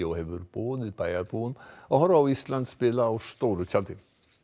hefur boðið bæjarbúum að horfa á Ísland spila á stóru tjaldi